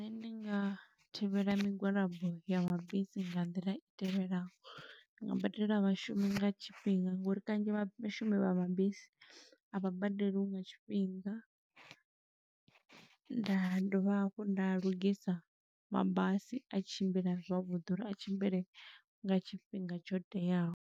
Nṋe ndi nga thivhela migwalabo ya mabisi nga nḓila i tevhelaho. Ndi nga badela vhashumi nga tshifhinga, ngo uri kanzhi vha vhashumi vha mabisi, a vha badeliwi nga tshifhinga. Nda dovha hafhu nda lugisa mabasi, a tshimbila zwavhuḓi uri a tshimbile nga tshifhinga tsho teaho.